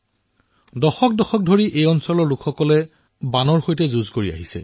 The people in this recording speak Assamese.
এই এলেকাটোৱে দশকজুৰি বানৰ ত্ৰাসৰ সৈতে যুঁজি আছিল